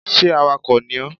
Sé awakò ni ó?